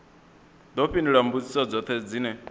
ḓo fhindula mbudziso dzoṱhe dzine